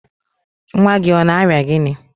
nwa gị ọ na-arịa gịnị?